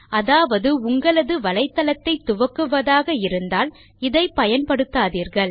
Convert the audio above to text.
அதாவது உங்களது வலைத்தளத்தை துவக்குவதாக இருந்தால் இதை பயன்படுத்தாதீர்கள்